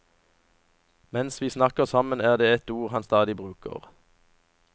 Mens vi snakker sammen er det ett ord han stadig bruker.